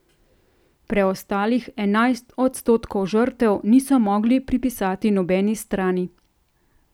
Preostalih enajst odstotkov žrtev niso mogli pripisati nobeni strani.